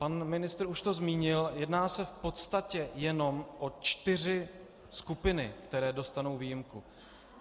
Pan ministr už to zmínil - jedná se v podstatě jenom o čtyři skupiny, které dostanou výjimku.